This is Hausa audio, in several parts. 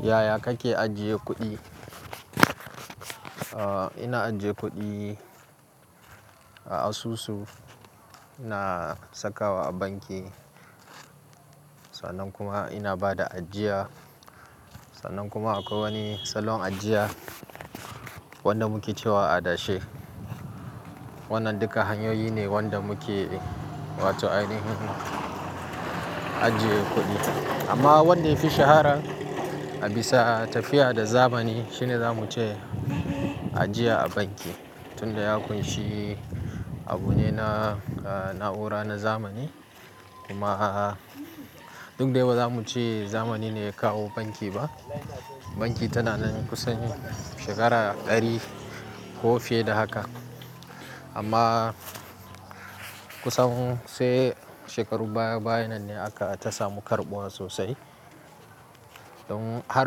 Yaya kake ajiye kuɗi? Aaa, ina ajiye kuɗi a asusu, ina sakawa a banki, sannan kuma ina bada ajiya, sannan kuma akwai wani salon ajiya wanda muke cewa adashe. Wannan duka hanyoyi ne wanda muke wato ainihin ajiye kuɗi. Amma wanda ya fi shahara a bisa tafiya da zamani shine zamu ce ajiya a banki, tunda ya kunshi abu ne na, na na'ura na zamani. Kuma duk dai ba zamuce zamani ne ya kawo banki ba, banki tana nan kusan shekara dari ko fiye da haka amma kusan sai shekaru baya, baya nan ne aka ta samu karɓuwa sosai. Don har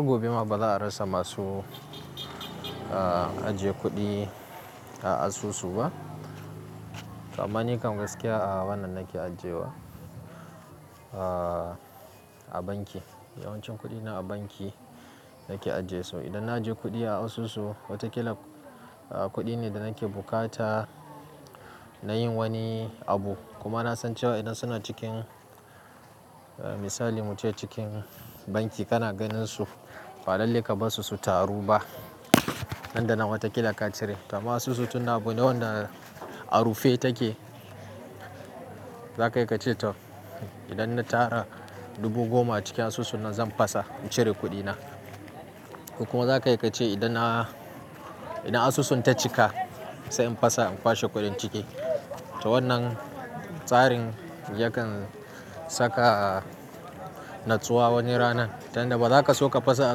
gobe ma baza arasa masu ajiye kudi a asusu ba to amma nikam gaskiya a wannan nake ajiyewa, aa, a banki. Yawancin kuɗina a banki nake ajiyesu. Idan na ajiye kuɗi a asusu, watakila kuɗi ne da nake bukata na yin wani abu. Kuma na san cewa idan suna cikin misali muce cikin banki kana ganin su, ba lallai kabarsu su taru ba. Nan da nan watakila ka cire. Amma asusu tunda abu ne wanda a rufe take. Zaka yi ka ce to idan na tara dubu goma a cikin asusu na zan fasa in cire kuɗina. Kuma zaka yi ka ce idan a, idan asusun ta cika sai in fasa in kwashe kuɗin ciki. To wannan tsarin yakan saka natsuwa wani ranar, tunda ba za ka so ka fasa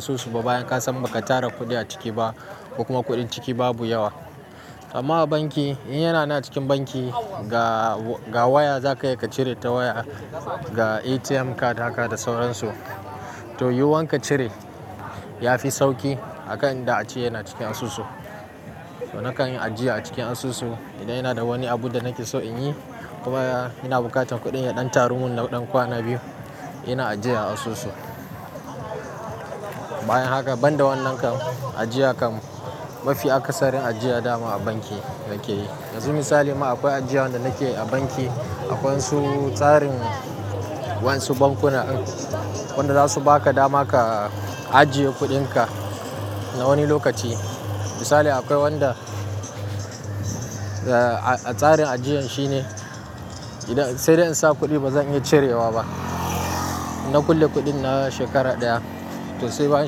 asusu ba bayan ka san baka tara kuɗi a ciki ba, ko kuma kuɗin ciki babu yawa. Amma a banki in yana nan acikin banki ga waya zaka iya cire a waya ga atm card da sauransu to yiwuwan ka cire ya fi sauki aka'in da ace yana cikin asusu. To na kan yin ajiya a cikin asusu idan yana da wani abu da nake so in yi. Kuma ina bukatan kuɗin ya ɗan taru mun ɗan kwana biyu, ina ajiya a asusu. Bayan haka banda wannan kan ajiya kan mafi akasarin ajiya dama a banki nake yi. Yanzu misali ma akwai ajiyan da nake yi a banki. Akwansu tsarin wasu bankuna, wanda za su baka dama ka ajiye kuɗinka na wani lokaci. Misali akwai wanda tsarin ajiyan shi ne idan, sai da in sa kuɗi ba zan iya cirewa ba. Na kulle kuɗin na shekara ɗaya, to sai bayan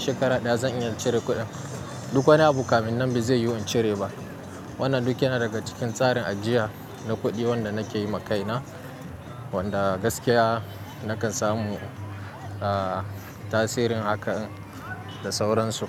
shekara ɗaya zan iya cire kuɗin. Duk wani abu kamin nan ba zai yi in cire ba. Wannan duk yana daga cikin tsarin ajiya na kuɗi wanda nake yi ma kaina. Wanda gaskiya nakan samu, aa, tasirin hakan da sauransu.